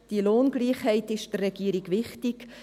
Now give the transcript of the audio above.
Die Lohngleichheit ist der Regierung wichtig.